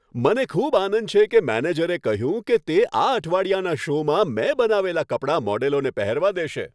મને ખૂબ આનંદ છે કે મેનેજરે કહ્યું કે તે આ અઠવાડિયાના શોમાં મેં બનાવેલાં કપડાં મોડેલોને પહેરવા દેશે.